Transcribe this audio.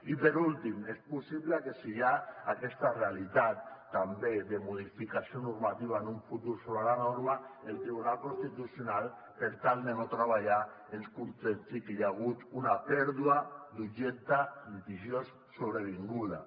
i per últim és possible que si hi ha aquesta realitat també de modificació normativa en un futur sobre la norma el tribunal constitucional per tal de no treballar ens contesti que hi ha hagut una pèrdua d’objecte litigiós sobrevinguda